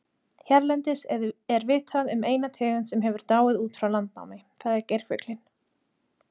Hérlendis er vitað um eina tegund sem hefur dáið út frá landnámi, það er geirfuglinn.